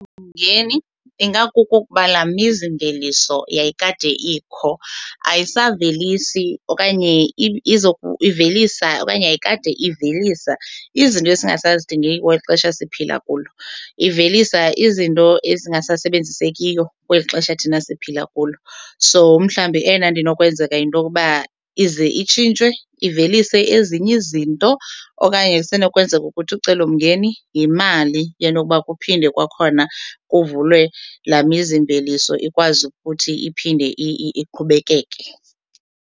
Ingakukuba laa mizimveliso yayikade ikho ayisavelisi okanye ivelisa okanye yayikade ivelisa izinto esingasazidingiyo kweli xesha siphila kulo, ivelisa izinto ezingasasebenzisekiyo kweli xesha thina siphila kulo. So umhlawumbi eyona nto inokwenzeka yinto yokuba ize itshintshwe ivelise ezinye izinto okanye kusenokwenzeka ukuthi ucelomngeni yimali yento yokuba kuphinde kwakhona kuvulwe laa mizimveliso ikwazi futhi iphinde iqhubekeke.